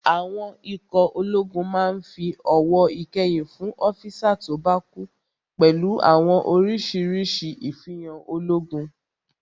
Àwọn ikọ̀ ológun máa n fi ọ̀wọ̀ ìkẹyìn fún ọ́físà tó bá kú pẹ̀lú àwọn orísirísi ifihan ológun